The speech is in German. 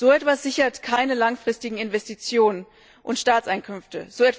So etwas sichert keine langfristigen Investitionen und Staatseinkünfte.